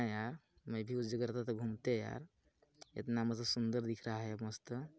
है यार में भी उस जगह रहता तो घूमते यार इतना मस्त सुंदर दिख रहा है मस्त--